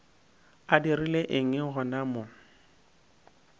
a dirile eng gona mo